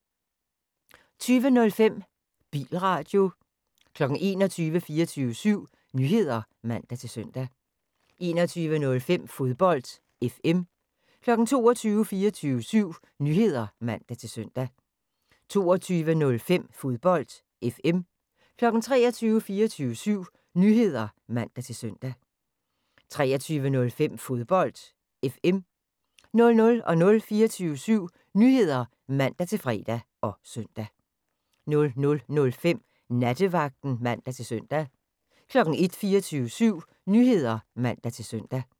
20:05: Bilradio 21:00: 24syv Nyheder (man-søn) 21:05: Fodbold FM 22:00: 24syv Nyheder (man-søn) 22:05: Fodbold FM 23:00: 24syv Nyheder (man-søn) 23:05: Fodbold FM 00:00: 24syv Nyheder (man-fre og søn) 00:05: Nattevagten (man-søn) 01:00: 24syv Nyheder (man-søn)